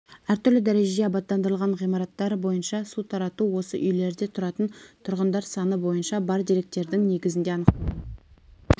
әртүрлі дәрежеде абаттандырылған ғимараттар бойынша су тарату осы үйлерде тұратын тұрғындар саны бойынша бар деректердің негізінде анықталған